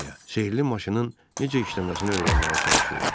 sehrli maşının necə işləməsini öyrənməyə çalışırdı.